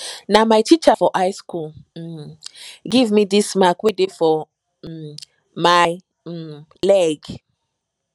na my teacher for high school um give me dis mark wey dey for um my um leg